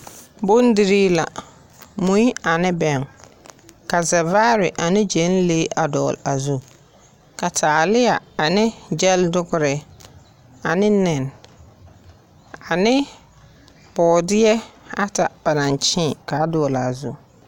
Bondierii la, mui ane bɛŋɛ. Ka zɛvaare ane gyɛnlee a dɔgle a zu. Ka taaleɛ ane gyɛldogre ane nɛne, ane bɔɔdeɛ at aba naŋ kyee, a dɔgle a zu.